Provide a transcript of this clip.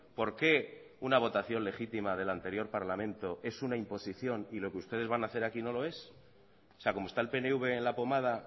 por qué una votación legítima del anterior parlamento es una imposición y lo que ustedes van a hacer aquí no lo es o sea como está el pnv en la pomada